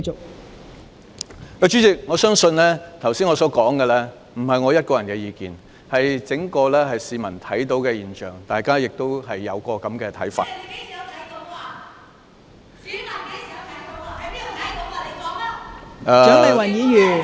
代理主席，我相信我剛才所說的，並非我一個人的意見，是市民看到的整體現象，大家亦有這個看法。